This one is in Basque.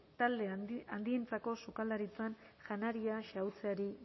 talde handientzako sukaldaritzan janaria xahutzeari